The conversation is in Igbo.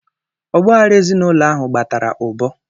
Ọgbaaghara ezinaụlọ ahụ kpatara ụbọ.